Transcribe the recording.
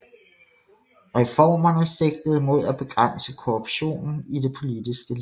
Reformerne sigtede mod at begrænse korruptionen i det politiske liv